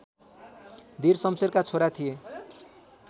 धीर सम्शेरका छोरा थिए